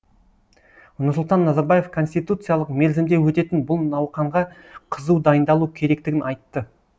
нұрсұлтан назарбаев конституциялық мерзімде өтетін бұл науқанға қызу дайындалу керектігін айтты